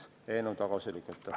Aitäh!